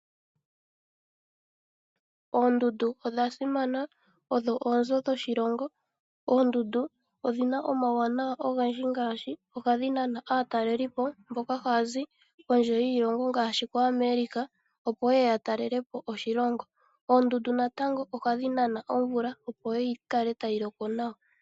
Oondundu odha simana odho oonzo dhoshilongo. Oondundu odhi na omauwanawa goshilongo ngaashi oha dhi nana aatalelipo mboka haya zi kondje yiilongo ngaashi koAmerica opo yeye ya talelepo oshilongo. Oondundu natango oha dhi nana omvula opo yi kale tayi loko nawa.